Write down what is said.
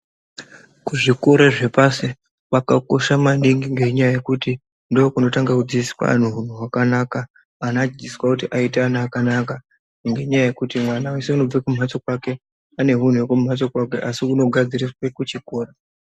Kuzvikora zvepashi kwakakosha maningi ngenyaya yekuti ndokunotanga kudzidziswa antu hunhu hwakanaka. Ana anodzidziswa kuti aite ana akanaka ngenyaya yekuti mwana weshe anobve kumhatso kwake ane hunhu hwekumhatso kwake asi hunozogadziriswe kuchikora.